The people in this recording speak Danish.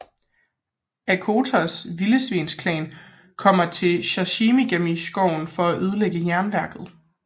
Okkotos Vildsvineklan kommer til Shishigami skoven for at ødelægge jernværket